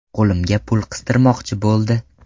Qo‘limga pul qistirmoqchi bo‘ldi.